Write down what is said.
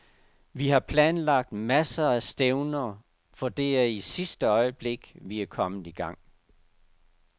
Vi har planlagt masser af stævner, for det er i sidste øjeblik, vi er kommet i gang.